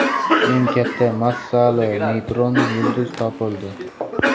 Eng katta massali neytron yulduz topildi.